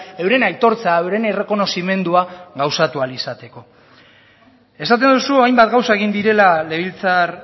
euren aitortza euren errekonozimendua gauzatu ahal izateko esaten duzu hainbat gauza egin direla legebiltzar